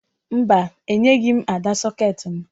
Mba, enyeghi m Ada sọkeetị m